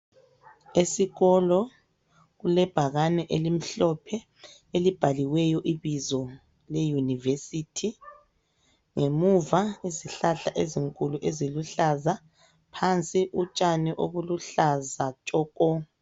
Esikolo kulebhakane elimhlophe elibhaliweyo ibizo le"University", ngemuva izihlahla ezinkulu eziluhlaza, phansi utshani obuluhlaza tshoko.